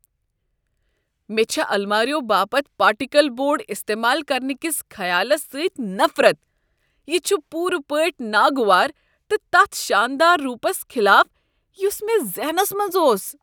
مےٚ چھےٚ الماریو باپت پارٹیکل بورڈ استعمال کرنہٕ کس خیالس سۭتۍ نفرت۔ یہ چھ پُورٕ پٲٹھۍ ناگوار تہٕ تتھ شاندار رُوپس خلاف یس مےٚ ذہنس منٛز اوس۔